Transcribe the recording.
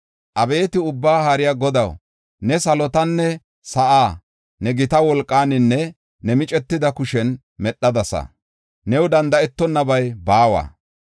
“Abeeti Ubbaa Haariya Godaw, ne salotanne sa7aa ne gita wolqaaninne ne micetida kushen medhadasa. New danda7etonnabay baawa.